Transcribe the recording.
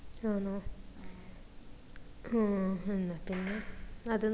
ആന്നോ ഹും ഉം എന്നാ പിന്നെ അത്